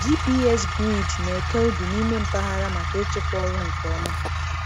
GPS grid na-eke ubi n'ime mpaghara maka ịchịkwa ọrụ nke ọma.